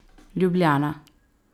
Ljubljana.